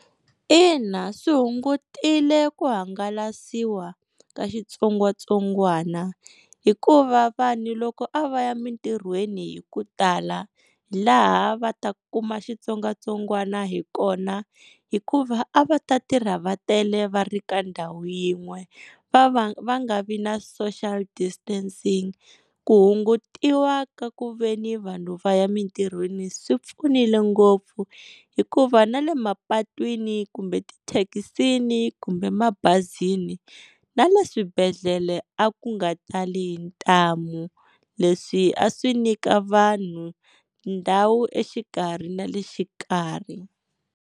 Ina swi hungutile ku hangalasiwa ka xitsongwatsongwana, hikuva vanhu loko a va ya emitirhweni hi ku tala hi laha a va ta kuma xitsongwatsongwana hi kona, hikuva a va ta tirha vatele va ri ka ndhawu yin'we va va va nga vi na social distancing. Ku hungutiwa ka ku veni vanhu va ya emitirhweni swi pfunile ngopfu, hikuva na le mapatwini kumbe ti thekisini kumbe mabazini na le swibedhlele a ku nga tali hi ntamu. Leswi a swi nyika vanhu ndhawu exikarhi na le xikarhi.